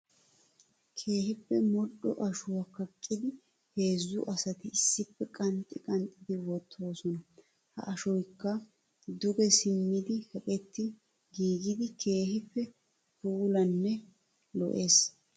Keehipp modhdho ashuwa kaqqiddi heezzu asatti issippe qanxxi qanxxi wottosonna. Ha ashshoykka duge simmiddi kaqqetti giiggiddi keehippe puulanne lo'ees. .